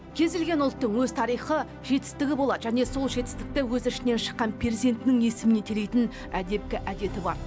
кез келген ұлттың өз тарихы жетістігі болады және сол жетістікті өз ішінен шыққан перзентінің есіміне телитін әдепкі әдеті бар